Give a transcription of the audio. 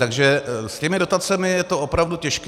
Takže s těmi dotacemi je to opravdu těžké.